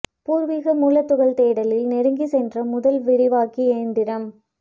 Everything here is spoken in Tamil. பூர்வீக மூலத் துகள் தேடலில் நெருங்கிச் சென்ற முதல் விரைவாக்கி யந்திரம்